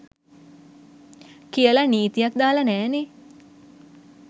කියල නීතියක් දාල නෑනෙ.